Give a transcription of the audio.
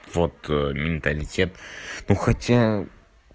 вот менталитет ну хотя